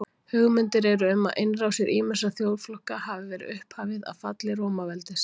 hugmyndir eru um að innrásir ýmissa þjóðflokka hafi verið upphafið að falli rómaveldis